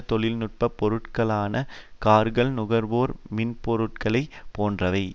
தொழில் நுட்ப பொருட்களான கார்கள் நுகர்வோர் மின்னணுப்பொருட்கள் போன்றவை